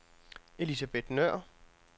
Elisabeth Nøhr